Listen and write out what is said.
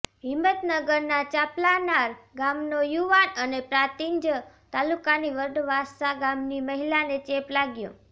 હિંમતનગરના ચાંપલાનાર ગામનો યુવાન અને પ્રાંતિજ તાલુકાની વડવાસા ગામની મહિલાને ચેપ લાગ્યો